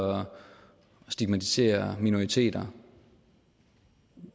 stigmatisere minoriteter